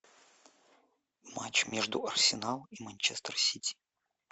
матч между арсеналом и манчестер сити